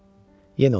Yenə oturdu.